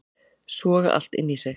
Soga allt inn í sig